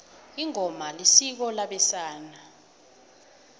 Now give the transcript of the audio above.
ingoma isiko labesana